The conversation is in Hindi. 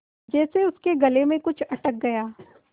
जैसे उसके गले में कुछ अटक गया